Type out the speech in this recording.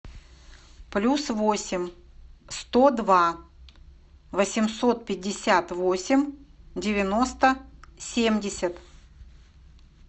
плюс восемь сто два восемьсот пятьдесят восемь девяносто семьдесят